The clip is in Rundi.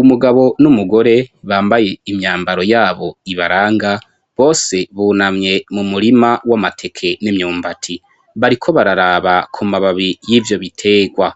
Umugabo n'umugore bambaye imyambaro yabo ibaranga bose bunamye mu murima w'amateke n'imyumbati bariko bararaba ku mababi y'ivyo bitegwa